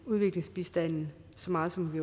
udviklingsbistanden så meget som vi